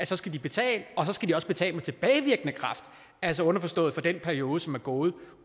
så skal betale og så skal de også betale med tilbagevirkende kraft altså underforstået for den periode som er gået